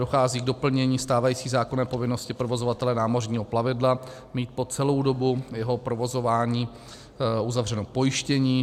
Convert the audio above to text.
Dochází k doplnění stávající zákonné povinnosti provozovatele námořního plavidla mít po celou dobu jeho provozování uzavřeno pojištění.